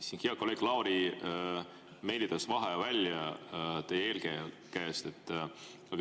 Siin hea kolleeg Lauri meelitas vaheaja välja teie eelkäija käest.